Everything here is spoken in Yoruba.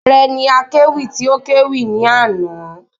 Ààre ni akéwì tí o kẹ́wì ní àná